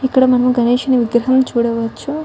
ఇక్కడా మనం గణేష్ ని విగ్రహం చూడవచ్చు.